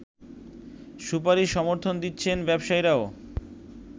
সুপারিশ সমর্থন দিচ্ছেন ব্যবসায়ীরাও